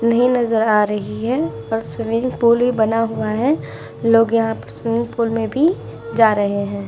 इन्हे नज़र आ रही है और स्विमिंग पूल भी बना हुआ है। लोग यहाँ स्विमिंग पूल में भी जा रहे हैं।